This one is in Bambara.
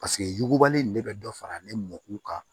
Paseke yugubali in ne bɛ dɔ fara ne mɔkɔ kan